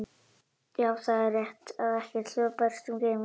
Já, það er rétt að ekkert hljóð berst um geiminn.